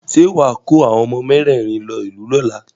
Ṣé wà á kó àwọn ọmọ mẹ́rẹ̀rin lọ ìlú lọ́la?